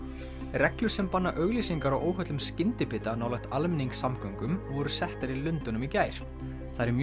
reglur sem banna auglýsingar á óhollum skyndibita nálægt almenningssamgöngum voru settar í Lundúnum í gær það eru mjög